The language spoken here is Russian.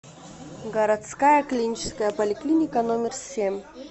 городская клиническая поликлиника номер семь